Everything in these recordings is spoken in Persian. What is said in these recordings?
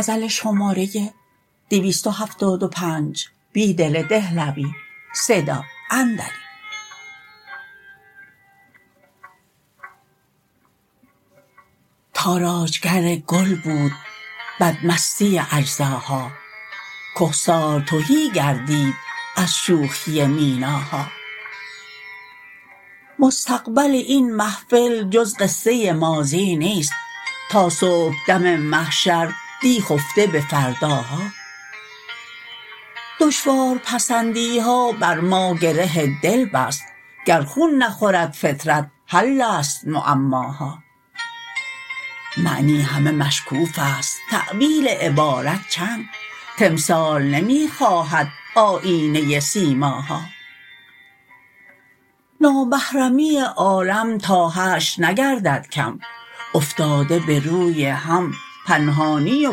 تاراجگرگل بود بدمستی اجزاها کهسار تهی گردید از شوخی میناها مستقبل این محفل جز قصه ماضی نیست تا صبحدم محشر دی خفته به فرداها دشوار پسندیها بر ماگره دل بست گرخون نخورد فطرت حل است معماها معنی همه مشکوف است تأویل عبارت چند تمثال نمی خواهد آیینه سیماها نامحرمی عالم تا حشر نگرددکم افتاده به روی هم پنهانی و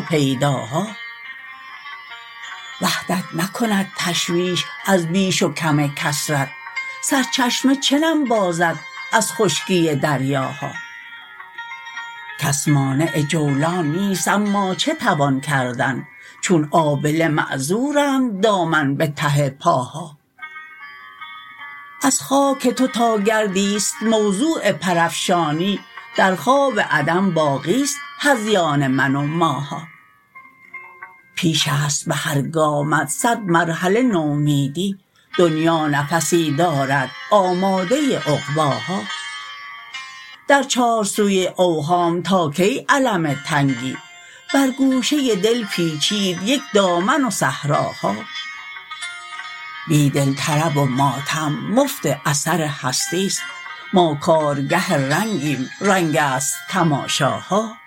پیداها وحدت نکند تشویش از بیش وکم کثرت سرچشمه چه نم بازد از خشکی دریاها کس مانع جولان نیست اما چه توان کردن چون آبله معذورند دامن به ته پاها از خاک تو تاگردی ست موضوع پرافشانی در خواب عدم باقی ست هذیان من و ماها پیش است به هرگامت صد مرحله نومیدی دنیا نفسی دارد آماده عقباها در چارسوی اوهام تا کی الم تنگی برگوشه دل پیچید یک دامن و صحراها بیدل طرب و ماتم مفت اثر هستی ست ما کارگه رنگیم رنگ است تماشاها